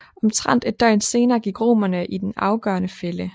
Omtrent et døgn senere gik romerne i den afgørende fælde